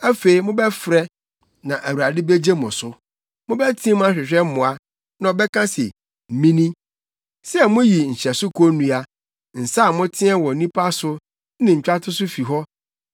Afei mobɛfrɛ, na Awurade begye mo so; mobɛteɛ mu ahwehwɛ mmoa, na ɔbɛka se: Mini. “Sɛ muyi nhyɛso konnua, nsa a moteɛ wɔ nnipa so ne ntwatoso fi hɔ,